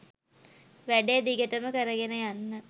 වැඩේ දිගටම කරගෙන යන්න